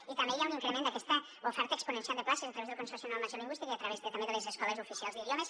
i també hi ha un increment d’aquesta oferta exponencial de places a través del consorci de normalització lingüística i a través de les escoles oficials d’idiomes